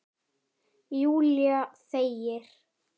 Júlía þegir.